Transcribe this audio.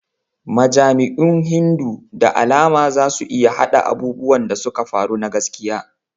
Majami'un Hindu da alama za su iya haɗa abubuwan da suka faru na gaskiya.